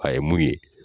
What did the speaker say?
A ye mun ye